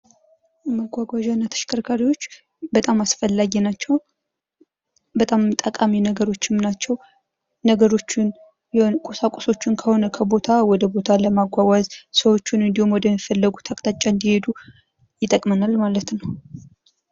መጓጓዣ እና ተሽከርካሪዎች በጣም አስፈላጊ ናቸው። በጣም ጠቃሚ ነገሮችም ናቸው። ነገሮችን ቁሳቁሶችን ከሆነ ከቦታ ወደ ቦታ ለማጓጓዝ ፤ ሰዎቹን ወደ ሚፈለጉት አቅጣጫ እንዲሄዱ ይጠቅመናል ማለት ነው።